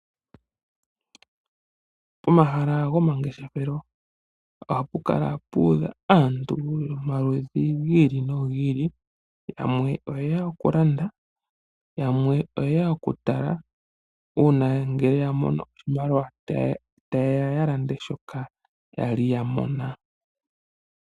Pomahala gomangeshefelo ohapukala puudha aantu yomaludhi gi ili no gi ili. Yamwe oyeya okulanda yamwe oyeya okutala, uuna ngele yamono oshimaliwa tayeya yalande shoka yali yamona.